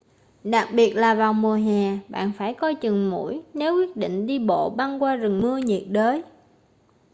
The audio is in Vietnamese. đặc biệt là vào mùa hè bạn phải coi chừng muỗi nếu quyết định đi bộ băng qua rừng mưa nhiệt đới